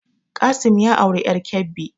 Qassim ya auri ƴar Kebbi